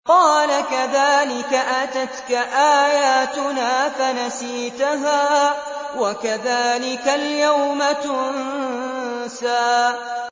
قَالَ كَذَٰلِكَ أَتَتْكَ آيَاتُنَا فَنَسِيتَهَا ۖ وَكَذَٰلِكَ الْيَوْمَ تُنسَىٰ